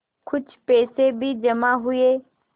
कुछ पैसे भी जमा हुए